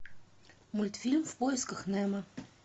мультфильм в поисках немо